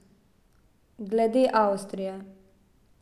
Glede Avstrije...